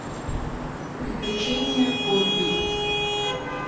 приключения гобби